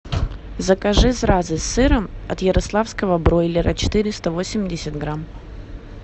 закажи зразы с сыром от ярославского бройлера четыреста восемьдесят грамм